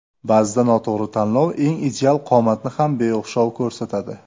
Ba’zida noto‘g‘ri tanlov eng ideal qomatni ham beo‘xshov ko‘rsatadi.